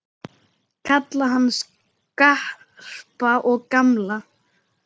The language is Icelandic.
Kalla hann Skarpa og gamla!